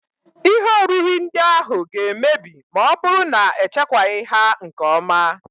Ihe oriri ndị ahụ ga-emebi ma ọ bụrụ na echekwaghị ha nke ọma